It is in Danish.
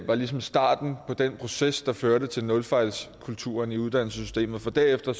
var ligesom starten på den proces der førte til nulfejlskulturen i uddannelsessystemet for derefter